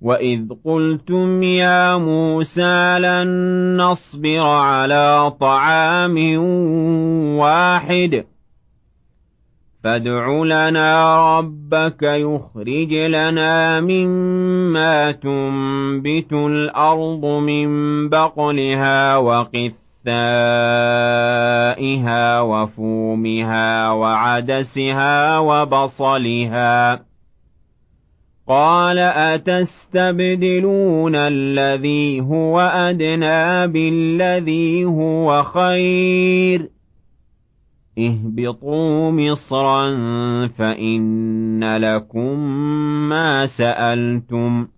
وَإِذْ قُلْتُمْ يَا مُوسَىٰ لَن نَّصْبِرَ عَلَىٰ طَعَامٍ وَاحِدٍ فَادْعُ لَنَا رَبَّكَ يُخْرِجْ لَنَا مِمَّا تُنبِتُ الْأَرْضُ مِن بَقْلِهَا وَقِثَّائِهَا وَفُومِهَا وَعَدَسِهَا وَبَصَلِهَا ۖ قَالَ أَتَسْتَبْدِلُونَ الَّذِي هُوَ أَدْنَىٰ بِالَّذِي هُوَ خَيْرٌ ۚ اهْبِطُوا مِصْرًا فَإِنَّ لَكُم مَّا سَأَلْتُمْ ۗ